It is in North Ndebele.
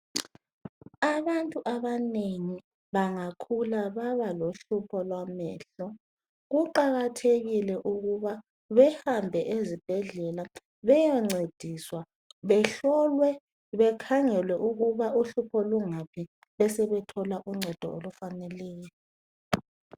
Abantu abanengi bangakhula baba lohlupho lwamehlo kuqakathekile ukuthi bavakatshe bayancediswa, bahlolwe bebesebethola uncedo.